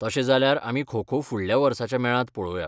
तशें जाल्यार आमी खो खो फुडल्या वर्साच्या मेळांत पळोवया.